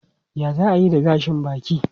Yaya za a yi da gashin baki?